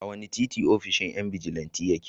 A wane titi ofishin yan bijilanti yake?